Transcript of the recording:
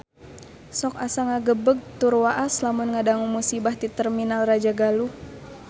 Sok asa ngagebeg tur waas lamun ngadangu musibah di Terminal Rajagaluh